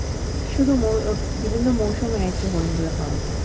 শুধু আহ বিভিন্ন মরশুমে আরকি হরিণগুলো পাওযা যায়।